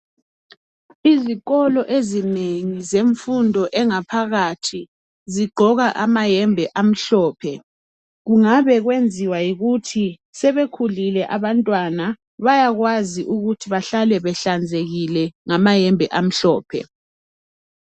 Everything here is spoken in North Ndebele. Izikolo ezinengi zemfundo engaphakathi zigqoka amayembe amhlophe kungabekwenziwa yikuthi sebekhulile abantwana bayakwazi ukuthi bahlale behlanzekile ngamayembe amhlophe.